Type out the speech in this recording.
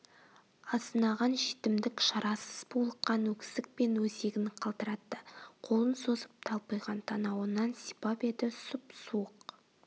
азынаған жетімдік шарасыз булыққан өксікпен өзегін қалтыратты қолын созып талпиған танауынан сипап еді сұп-суық